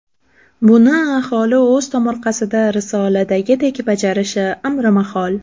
Buni aholi o‘z tomorqasida risoladagidek bajarishi amrimahol.